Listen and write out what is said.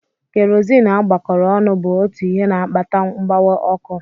Kerozini agbakọrọ ọnụ bụ otu ihe na-akpata mgbawa ọkụ.